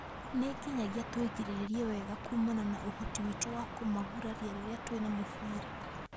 Nĩ nginyagia tũigirĩrĩrie wega kumana na ũhoti witũ wa kũmaguraria rĩrĩa twĩna mũbira